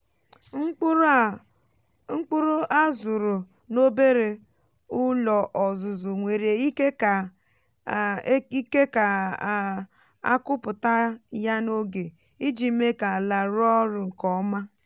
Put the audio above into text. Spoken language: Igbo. mkpụrụ á zụrụ n’obere ụlọ ọzụzụ nwere ike kà a ike kà a kụpụta ya n’oge iji mee ka ala rụọ ọrụ nke ọma.